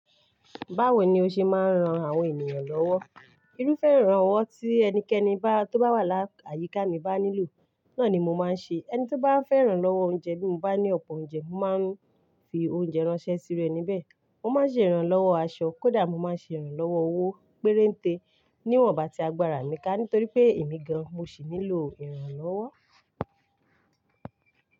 Báwo ni o ṣe máa ń ran àwọn ènìyàn lọ́wọ́? Irúfẹ́ ìrànlọ́wọ́ tí ẹnikẹ́ni bá tó bá wà láyíká mi bá nílò, náà ni mo máa ń ṣe. Ẹni tí ó bá fẹ́ ìrànlọ́wọ́ oúnjẹ bí mo bá ní ọ̀pọ̀ oúnjẹ, mo máa ń fi oúnjẹ ránṣẹ́ sí iru ení bẹ̀e. Mo máa ń ṣe ìrànlọ́wọ́ aṣọ kódà mo má ń ṣe ìrànlọ́wọ́ owó pérénté níwọ̀n ìgbà tí agbára mi ká nítorí pé èmi gan mo sì nílò ìrànlọ́wọ́.